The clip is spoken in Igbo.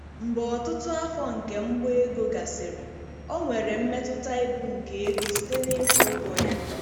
Mgbe ọtụtụ afọ nke mgba ego gasịrị, o nwere mmetụta ibu nke ego site na-ịkwụ ụgwọ ya.